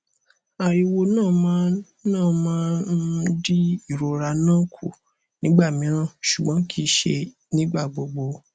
ariwo na ma na ma um n di irora na ku nigba miran ṣugbọn kii ṣe nigba gbogbo